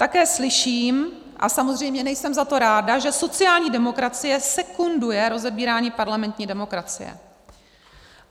Také slyším, a samozřejmě nejsem za to ráda, že sociální demokracie sekunduje rozebírání parlamentní demokracie.